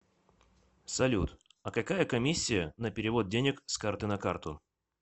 салют а какая комиссия на перевод денег с карты на карту